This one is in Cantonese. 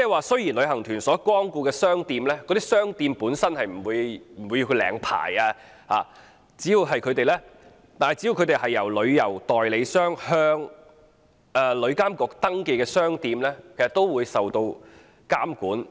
雖然旅行團光顧的商店本身不用領牌，但商店只要是旅行代理商向旅監局登記的商店，都會受到監管。